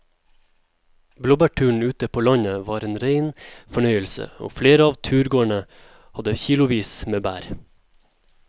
Blåbærturen ute på landet var en rein fornøyelse og flere av turgåerene hadde kilosvis med bær.